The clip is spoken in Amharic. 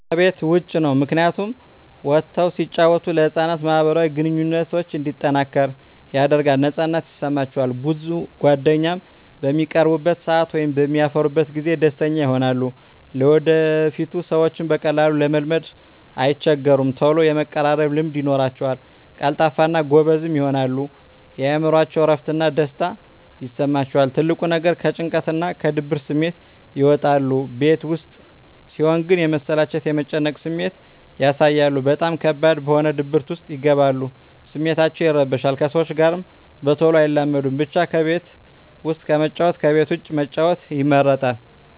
ከቤት ዉጭ ነዉ ምክንያቱም ወጠዉ ሲጫወቱ ለህፃናት ማህበራዊ ግንኙነቶች እንዲጠናከር ያደርጋል ነፃነት ይሰማቸዋል ብዙ ጓደኛም በሚቀርቡበት ሰአት ወይም በሚያፈሩበት ጊዜ ደስተኛ ይሆናሉ ለወደፊቱ ሰዎችን በቀላሉ ለመልመድ አይቸገሩም ተሎ የመቀራረብ ልምድ ይኖራቸዉል ቀልጣፋ እና ጎበዝም ይሆናሉ የእምሮአቸዉ እረፍት እና ደስታ ይሰማቸዋል ትልቁ ነገር ከጭንቀትና ከድብርት ስሜት ይወጣሉ ቤት ዉስጥ ሲሆን ግን የመሰላቸት የመጨነቅ ስሜት ያሳያሉ በጣም ከባድ በሆነ ድብርት ዉስጥ ይገባሉ ስሜታቸዉ ይረበሻል ከሰዎች ጋር በተሎ አይላመዱም ብቻ ከቤት ዉስጥ ከመጫወት ከቤት ዉጭ መጫወት ይመረጣል